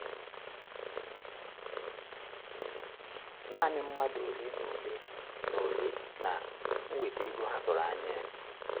Nanị mmadụ ole na ole na - ole na - enweta ego ha tụrụ anya ya.